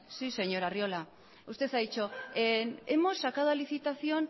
sí señor arriola usted ha dicho hemos sacado a licitación